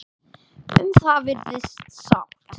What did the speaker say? Um það virðist sátt.